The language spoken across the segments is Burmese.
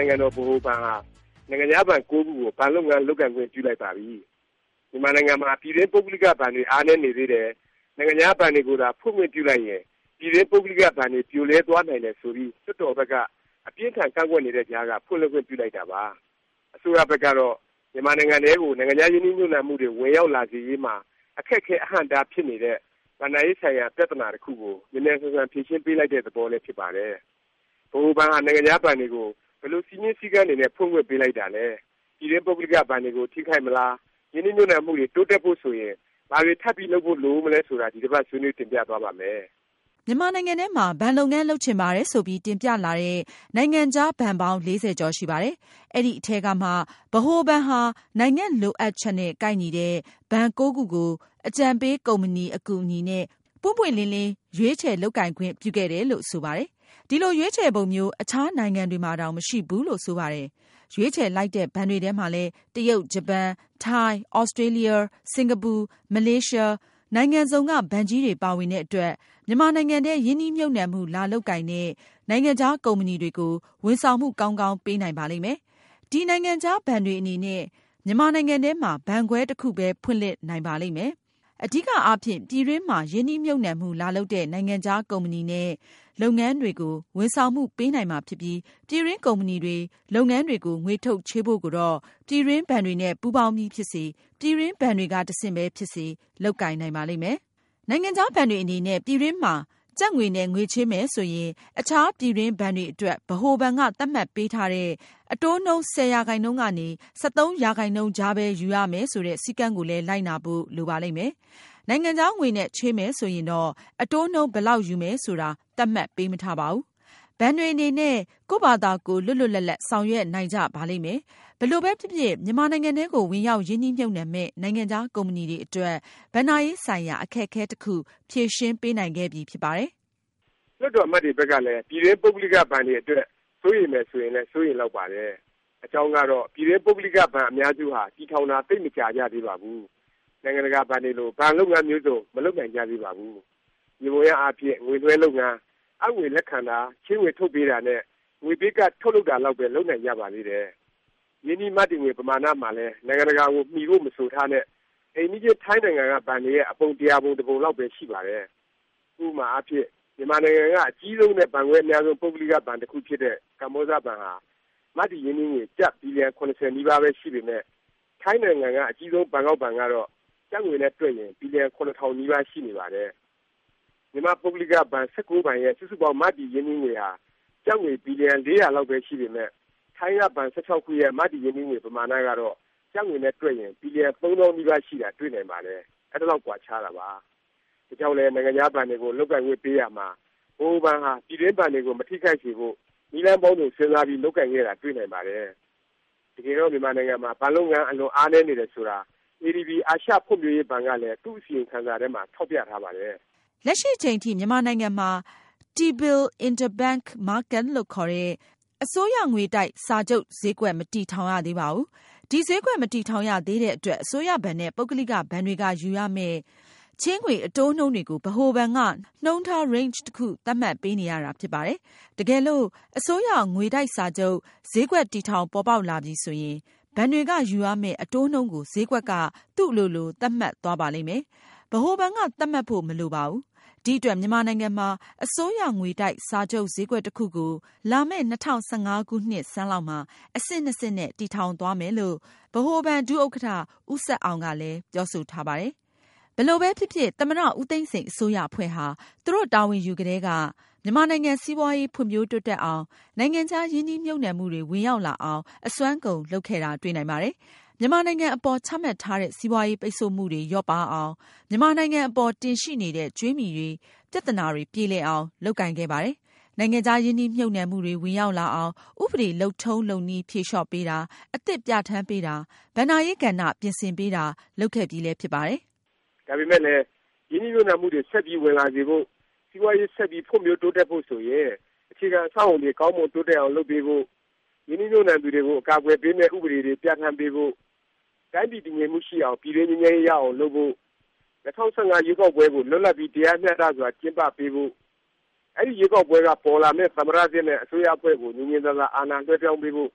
ိုင်ငံတော် ဗဟိုဘဏ်ဟာ နိုင်ငံခြားဘဏ် ခုကို ဘဏ်လုပ်ငန်း လုပ်ကိုင်ခွင့်ပြုလိုက်ပါပြီ။ မြန်မာနိုင်ငံမှာ ပြည်တွင်း ပုဂ္ဂလိက ဘဏ်တွေ အားနည်းနေသေးတယ်၊ နိုင်ငံခြား ဘဏ်တွေကိုသာ ဖွင့်ခွင့်ပြုလိုက်ရင် ပြည်တွင်း ပုဂ္ဂလိက ဘဏ်တွေ ပြိုလဲသွားနိုင်တယ် ဆိုပြီး လွှတ်တော်ဘက်က အပြင်းအထန် ကန့်ကွက်နေတဲ့ကြားက ဖွင့်လှစ်ခွင့်ပြုလိုက်တာပါ။ အစိုးရဘက်ကတော့ မြန်မာနိုင်ငံထဲကို နိုင်ငံခြား ရင်းနှီးမြှုပ်နှံတွေ ဝင်ရောက်လာစေရေး မှာ အခက်အခဲ အဟန့်အတား ဖြစ်နေတဲ့ ဘဏ္ဍာရေးဆိုင်ရာ ပြသနာ တစ်ခုကို မြန်မြန်ဆန်ဆန် ဖြေရှင်းလိုက်တဲ့ သဘောလည်း ဖြစ်ပါတယ်။ ဗဟိုဘဏ်ဟာ နိုင်ငံခြား ဘဏ်တွေကို ဘယ်လို စည်းမျဉ်းစည်းကမ်းတွေနဲ့ ဖွင့်ခွင့်ပေးလိုက်တာလဲ၊ ပြည်တွင်း ပုဂ္ဂလိက ဘဏ်တွေကို ထိခိုက်မလား၊ ရင်းနှီးမြှုပ်နှံမှုတွေ တိုးတက်ဖို့ ဆိုရင် ဘာတွေ ထပ်ပြီးလုပ်ဖို့ လိုဦးမလဲ ဆိုတာ ဒီတစ်ပါတ် ဆွေးနွေးတင်ပြသွားပါ့မယ်။ မြန်မာနိုင်ငံထဲမှာ ဘဏ်လုပ်ငန်း လုပ်ချင်ပါတယ် ဆိုပြီး တင်ပြလာတဲ့ နိုင်ငံခြားဘဏ်ပေါင်း ၄၀ ကျော်ရှိပါတယ်။ အဲဒီ အထဲကမှ ဗဟိုဘဏ်ဟာ နိုင်ငံ့လိုအပ်ချက်နဲ့ ကိုက်ညီတဲ့ ဘဏ် ခုကို အကြံပေး ကုမ္ပဏီ အကူအညီနဲ့ ပွင့်ပွင့်လင်းလင်း ရွေးချယ် လုပ်ကိုင်ခွင့်ပြုခဲ့တယ်လို့ ဆိုပါတယ်။ ဒီလို ရွေးချယ်ပုံမျိုး အခြားနိုင်ငံတွေမှာတောင် မရှိဘူးလို့ ဆိုပါတယ်။ ရွေးချယ်လိုက်တဲ့ ဘဏ်တွေထဲမှာလည်း တရုတ်၊ ဂျပန်၊ ထိုင်း၊ သြစတြေးလျ၊ စင်ကာပူ၊ မလေးရှား နိုင်ငံစုံက ဘဏ်ကြီးတွေ ပါဝင်တဲ့အတွက် မြန်မာနိုင်ငံထဲ ရင်းနှီးမြှုပ်နှံမှု လာလုပ်ကိုင်တဲ့ နိုင်ငံခြားကုမ္ပဏီတွေကို ဝန်ဆောင်မှု ကောင်းကောင်း ပေးနိုင်ပါလိမ့်မယ်။ ဒီ နိုင်ငံခြားဘဏ်တွေ အနေနဲ့ မြန်မာနိုင်ငံထဲမှာ ဘဏ်ခွဲ တစ်ခုပဲ ဖွင့်လှစ်နိုင်ပါလိမ့်မယ်၊ အဓိကအားဖြင့် ပြည်တွင်းမှာ ရင်းနှီးမြှုပ်နှံမှု လာလုပ်တဲ့ နိုင်ငံခြား ကုမ္ပဏီနဲ့ လုပ်ငန်းတွေကို ဝန်ဆောင်မှု ပေးနိုင်မှာဖြစ်ပြီး ပြည်တွင်း ကုမ္ပဏီတွေ၊ လုပ်ငန်းတွေကို ငွေထုတ်ချေးဖို့ကိုတော့ ပြည်တွင်းဘဏ်တွေနဲ့ ပူးပေါင်းပြီး ဖြစ်စေ၊ ပြည်တွင်း ဘဏ်တွေက တဆင့်ဖြစ်စေ ပဲ လုပ်ကိုင်နိုင်ပါလိမ့်မယ်။ နိုင်ငံခြားဘဏ်တွေ အနေနဲ့ ပြည်တွင်းမှာ ကျပ်ငွေနဲ့ ငွေချေးမယ် ဆိုရင် အခြား ပြည်တွင်းဘဏ်တွေအတွက် ဗဟိုဘဏ်က သတ်မှတ်ပေးထားတဲ့ အတိုးနှုန်း ၁၀ ရာခိုင်နှုန်းကနေ ၁၃ ရာခိုင်နှုန်းကြားပဲ ယူရမယ် ဆိုတဲ့ စည်းကမ်းကိုလည်း လိုက်နာဖို့ လိုပါလိမ့်မယ်။ နိုင်ငံခြားငွေနဲ့ ချေးမယ်ဆိုရင်တော့ အတိုးနှုန်း ဘယ်လောက်ယူရမယ် ဆိုတာ သတ်မှတ်ပေးမထားပါဘူး။ ဘဏ်တွေအနေနဲ့ ကိုယ့်ဖာသာကိုယ် လွတ်လွတ်လပ်လပ် ဆောင်ရွက်နိုင်ကြပါလိမ့်မယ်။ ဘယ်လိုပဲဖြစ်ဖြစ် မြန်မာနိုင်ငံထဲကို ဝင်ရောက် ရင်းနှီးမြှုပ်နှံမယ့် နိုင်ငံခြား ကုမ္ပဏီတွေ အတွက် ဘဏ္ဍာရေး ဆိုင်ရာ အခက်အခဲ တစ်ခု ဖြေရှင်းပေးနိုင်ခဲ့ပြီဖြစ်ပါတယ်။ လွှတ်တော် အမတ်တွေဘက်ကလည်း ပြည်တွင်း ပုဂ္ဂလိက ဘဏ်တွေအတွက် စိုးရိမ်မယ် ဆိုရင်လည်း စိုးရိမ်လောက်ပါတယ်။ အကြောင်းကတော့ ပြည်တွင်း ပုဂ္ဂလိက ဘဏ် အများစုဟာ တည်ထောင်တာ သိပ်မကြာကြသေးပါဘူး၊ နိုင်ငံတကာဘဏ်တွေလို ဘဏ်လုပ်ငန်း မျိုးစုံ မလုပ်နိုင်ကြသေးပါဘူး၊ ယေဘူယျအားဖြင့် ငွေလွှဲလုပ်ငန်း၊ အပ်ငွေ လက်ခံတာ ချေးငွေ ထုတ်ပေးတာ နဲ့ ငွေပေးကဒ် ထုတ်လုပ်တာလောက်ပဲ လုပ်နိုင်ကြပါသေးတယ်။ ရင်းနှီးမတည်ငွေ ပမာဏ မှာလည်း နိုင်ငံတကာကို မီဖို့ မဆိုထားနဲ့ အိမ်နီးချင်း ထိုင်းနိုင်ငံက ဘဏ်တွေရဲ့ အပုံ ၁၀၀ ပုံတစ်ပုံ လောက်ပဲ ရှိပါတယ်။ ဥပမာအားဖြင့် မြန်မာနိုင်ငံက အကြီးဆုံးနဲ့ ဘဏ်ခွဲအများဆုံး ပုဂ္ဂလိက ဘဏ်တစ်ခုဖြစ်တဲ့ ကမ္ဘောဇဘဏ်ဟာ မတည်ရင်းနှီးငွေ ကျပ် ဘီလျံ ၇၀ နီးပါးပဲ ရှိပေမယ့် ထိုင်းနိုင်ငံက အကြီးဆုံး ဘန်ကောက်ဘဏ်ကတော့ ကျပ်ငွေနဲ့ တွက်ရင် ဘီလျံ ၇၀၀၀ နီးပါးရှိနေပါတယ်။ မြန်မာ့ပုဂ္ဂလိက ဘဏ် ၁၉ ဘဏ်ရဲ့ စုစုပေါင်း မတည်ရင်းနှီးငွေဟာ ကျပ်ငွေ ဘီလျံ ၄၀၀ လောက်ပဲ ရှိပေမယ့် ထိုင်းက ဘဏ် ၁၆ ခုရဲ့ မတည်ရင်းနှီးငွေ ပမာဏ ကတော့ ကျပ်ငွေနဲ့ တွက်ရင် ဘီလျံ ၃ သောင်းနီးပါး ရှိတာ တွေ့နိုင်ပါတယ်။ အဲဒီလောက် ကွာခြားတာပါ။ ဒါကြောင့်လည်း နိုင်ငံခြား ဘဏ်တွေကို လုပ်ကိုင်ခွင့်ပေးရာမှာ ဗဟိုဘဏ်ဟာ ပြည်တွင်းဘဏ်တွေကို မထိခိုက်စေဖို့ နည်းလမ်းပေါင်းစုံ စဉ်းစားပြီး လုပ်ကိုင်ခဲ့တာ တွေ့နိုင်ပါတယ်။ တကယ်တော့ မြန်မာနိုင်ငံမှာ ဘဏ်လုပ်ငန်း အလွန်အားနည်း နေတယ်ဆိုတာ ADB အာရှဖွံ့ဖြိုးရေးဘဏ်ကလည်း သူ့ အစီရင်ခံစာထဲမှာ ထောက်ပြထားပါတယ်။ လက်ရှိ အချိန်ထိ မြန်မာနိုင်ငံမှာ T-Bill interbank market လို့ခေါ်တဲ့ အစိုးရငွေတိုက် စာချုပ် ဈေးကွက် မတည်ထောင်ရသေးပါဘူး။ ဒီဈေးကွက် မတည်ထောင်ရသေးတဲ့ အတွက် အစိုးရဘဏ်နဲ့ ပုဂ္ဂလိက ဘဏ်တွေက ယူရမယ့် ချေးငွေ အတိုးနှုန်းတွေကို ဗဟိုဘဏ်က နှုန်းထား Range တစ်ခု သတ်မှတ်ပေးနေရတာ ဖြစ်ပါတယ်။ တကယ်လို့ အစိုးရ ငွေတိုက်စာချုပ် ဈေးကွက် တည်ထောင် ပေါ်ပေါက်လာပြီဆိုရင် ဘဏ်တွေက ယူရမယ့် အတိုးနှုန်းကို ဈေးကွက်က သူ့အလိုလို သတ်မှတ်သွားပါလိမ့်မယ်။ ဗဟိုဘဏ်က သတ်မှတ်ဖို့ မလိုပါဘူး။ ဒီအတွက် မြန်မာနိုင်ငံမှာ အစိုးရငွေတိုက် စာချုပ် ဈေးကွက် တစ်ခုကို လာမယ့် ၂၀၁၅ ခုနှစ်ဆန်းလောက်မှာ အဆင့်နှစ်ဆင့်နဲ့ တည်ထောင်သွားမယ် လို့ ဗဟိုဘဏ် ဒုဥက္ကဌ ဦးဆက်အောင်လည်း ပြောဆိုထားပါတယ်။ ဘယ်လိုပဲဖြစ်ဖြစ် သမ္မတ ဦးသိန်းစိန် အစိုးရအဖွဲ့ဟာ သူတို့ တာဝန်ယူကတည်းက မြန်မာနိုင်ငံ စီးပွားရေး ဖွံ့ဖြိုးတိုးတက်အောင်၊ နိုင်ငံခြား ရင်းနှီးမြှုပ်နှံမှုတွေ ဝင်ရောက်လာအောင် အစွမ်းကုန် လုပ်ခဲ့တာ တွေ့နိုင်ပါတယ်။ မြန်မာနိုင်ငံအပေါ် ချမှတ်ထားတဲ့ စီးပွားရေး ပိတ်ဆို့မှုတွေ လျော့ပါးအောင်၊ မြန်မာနိုင်ငံအပေါ် တင်ရှိနေတဲ့ ကြွေးမြီတွေ ပြသနာတွေ ပြေလည်အောင် လုပ်ကိုင်ခဲ့ပါတယ်။ နိုင်ငံခြား ရင်းနှီးမြှုပ်နှံမှုတွေ ဝင်ရောက်လာအောင် ဥပဒေ လုပ်ထုံးလုပ်နည်း ဖြေလျော့ပေးတာ၊ အသစ် ပြဌာန်းပေးတာ၊ ဘဏ္ဍာရေး ကဏ္ဍ ပြင်ဆင်ပေးတာ လုပ်ခဲ့ပြီလည်း ဖြစ်ပါတယ်။ ဒါပေမယ့်လည်း ရင်းနှီးမြှုပ်နှံမှုတွေ ဆက်ပြီး ဝင်လာစေဖို့၊ စီးပွားရေး ဆက်ပြီး ဖွံ့ဖြိုးတိုးတက်ဖို့ဆိုရင် အခြေခံအဆောက်အဦတွေ ကောင်းမွန် တိုးတက်အောင် လုပ်ပေးဖို့၊ ရင်းနှီးမြှုပ်နှံသူတွေကို အကာအကွယ်ပေးမယ့် ဥပဒေ တွေပြဌာန်းပေးဖို့၊ တိုင်းပြည် တည်ငြိမ်မှု ရှိအောင် ပြည်တွင်း ငြိမ်းချမ်းရေး ရအောင် လုပ်ဖို့၊ ၂၀၁၅ ရွေးကောက်ပွဲကို လွတ်လပ်ပြီး တရားမျှတစွာ ကျင်းပပေးဖို့၊ အဲဒီ ရွေးကောက်ပွဲက ပေါ်ပေါက်လာမယ့် သမ္မတ သစ်နဲ့ အစိုးရအဖွဲ့ကို ငြင်ငြင်သာသာ အာဏာလွှဲပြောင်းပေးဖို့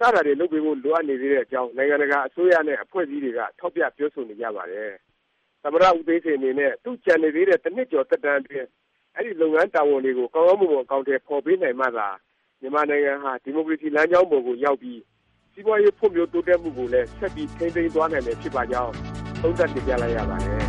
စတာတွေ လုပ်ပေးဖို့ လိုအပ်နေသေးတဲ့အကြောင်း နိုင်ငံတကာ အစိုးရနဲ့ အဖွဲ့အစည်းတွေက ထောက်ပြ ပြောဆိုနေကြပါတယ်။ သမ္မတ ဦးသိန်းစိန် အနေနဲ့ သူ့ကျန်နေသေးတဲ့ တစ်နှစ်ကျော် သက်တမ်းအတွင်း အဲဒီ လုပ်ငန်းတာဝန်တွေကို ကောင်းကောင်းမွန်မွန် အကောင်အထည် ဖော်ပေးနိုင်မှသာ မြန်မာနိုင်ငံဟာ ဒီမိုကရေစီ လမ်းကြောင်းပေါ်ကို ရောက်ပြီး၊ စီးပွားရေး ဖွံ့ဖြိုးတိုးတက်မှုကိုလည်း ဆက်ပြီး ထိန်းသိမ်းသွားနိုင်မယ် ဖြစ်ပါကြောင်း သုံးသပ်တင်ပြလိုက်ရပါတယ်။